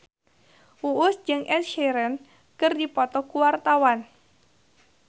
Uus jeung Ed Sheeran keur dipoto ku wartawan